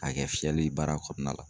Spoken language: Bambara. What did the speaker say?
A kɛ fiyɛli baara kɔnɔna la.